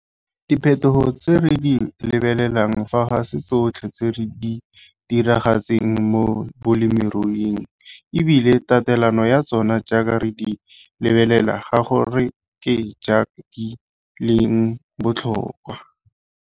Diphethogo tse re di lebelelang fa ga se tsotlhe tse di diragetseng mo bolemiruing e bile tatelano ya tsona jaaka re di lebelela ga go re ke jaaka di leng botlhokwa.